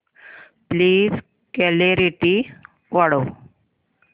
please clarity वाढव